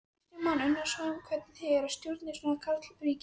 Kristján Már Unnarsson: Hvernig er að stjórna í svona karlaríki?